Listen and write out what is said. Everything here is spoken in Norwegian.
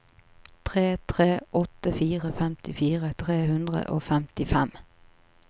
tre tre åtte fire femtifire tre hundre og femtifem